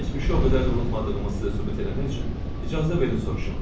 Keçmişi o qədər də unutmadığımı sizə sübut eləmək üçün icazə verin soruşum.